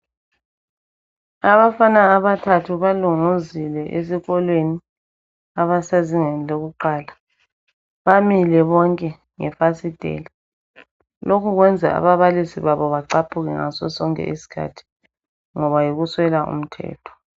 Abafana abathathu balunguzile esikolweni abasezingeni lokuqala. Bamile bonke ngefasitela. Lokhu kwenza ababalisi babo bacaphuke ngaso sonke isikhathi ngoba yikuswela umthetho.